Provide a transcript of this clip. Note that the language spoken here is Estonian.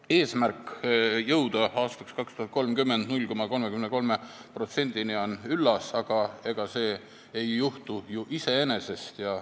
Eesmärk jõuda aastaks 2030 0,33%-ni on üllas, aga see ei juhtu ju iseenesest.